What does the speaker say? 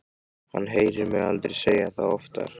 Hann heyrir mig aldrei segja það oftar.